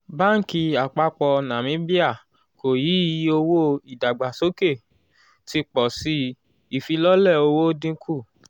báńkì àpapọ̀ namibia kò yí iye owóo ìdàgbàsókè ti pọ̀ sí i ìfilọ́lẹ̀ owó dínkù.